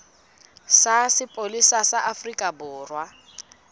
sa sepolesa sa afrika borwa